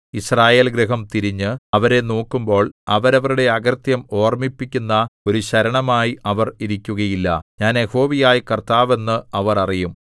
യിസ്രായേൽഗൃഹം തിരിഞ്ഞ് അവരെ നോക്കുമ്പോൾ അവരവരുടെ അകൃത്യം ഓർമ്മിപ്പിക്കുന്ന ഒരു ശരണമായി അവർ ഇരിക്കുകയില്ല ഞാൻ യഹോവയായ കർത്താവ് എന്ന് അവർ അറിയും